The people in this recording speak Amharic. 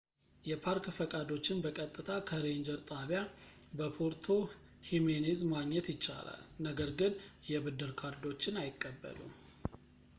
የፓርክ ፈቃዶችን በቀጥታ ከሬንጀር ጣቢያ በፖርቶ ሂሜኔዝ ማግኘት ይቻላል ነገር ግን የብድር ካርዶችን አይቀበሉም